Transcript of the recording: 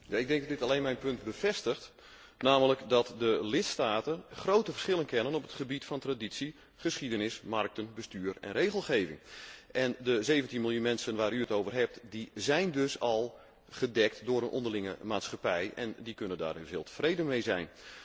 Ik denk dat dit alleen mijn punt bevestigt, namelijk dat de lidstaten grote verschillen kennen op het gebied van traditie, geschiedenis, markten, bestuur en regelgeving. De 17 miljoen mensen waar u het over heeft, zijn dus al gedekt door een onderlinge maatschappij en die kunnen daar heel tevreden mee zijn.